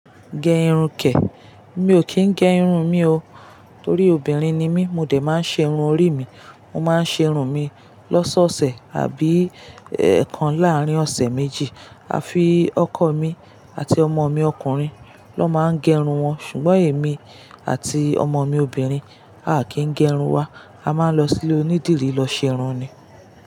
Gẹ irun kẹ̀, mi ò kì í gẹ irun mi o. Torí obìnrin ni mí, mo dè máa ń ṣe irun orí mi. Wọ́n máa ń ṣe irun mi lọ́sọ̀ọ̀sẹ̀ àbí ẹ̀ẹ̀kan láàrín ọ̀sẹ̀ méjì. A fi ọkọ mi àti ọmọ mi ọkùnrin lọ́ máa ń gẹ irun wọn. Ṣùgbọ́n èmi àti ọmọ mi obìnrin, a kì í gẹ irun wa. A máa ń lọ sí ilé onídìrí lọ ṣe irun ni.